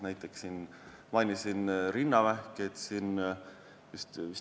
Mainisin siin ennist rinnavähki.